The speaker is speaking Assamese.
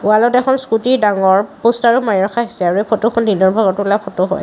ৱালত এখন স্কুটি ডাঙৰ প'ষ্টাৰো মাৰি ৰখা হৈছে আৰু এই ফটোখন দিনৰ ভাগত তোলা ফটো হয়।